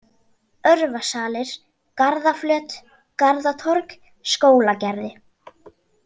Örvasalir, Garðaflöt, Garðatorg, Skólagerði